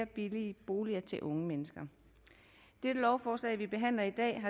billige boliger til unge mennesker det lovforslag vi behandler i dag